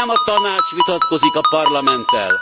Nem a Tanács vitatkozik a Parlamenttel!